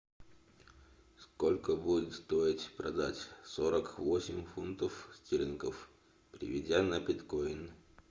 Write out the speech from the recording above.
сколько будет стоить продать сорок восемь фунтов стерлингов переведя на биткоин